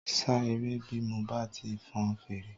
Ṣá eré bí mo bá ti fọn fèrè